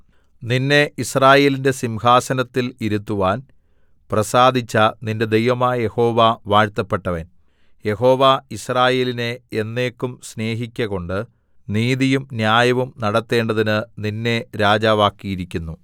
നിന്നെ യിസ്രായേലിന്റെ സിംഹാസനത്തിൽ ഇരുത്തുവാൻ പ്രസാദിച്ച നിന്റെ ദൈവമായ യഹോവ വാഴ്ത്തപ്പെട്ടവൻ യഹോവ യിസ്രായേലിനെ എന്നേക്കും സ്നേഹിക്കകൊണ്ട് നീതിയും ന്യായവും നടത്തേണ്ടതിന് നിന്നെ രാജാവാക്കിയിരിക്കുന്നു